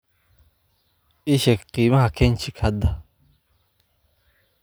ii sheeg qiimaha kenchic hadda